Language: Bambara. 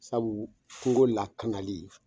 Sabu kungo lakanali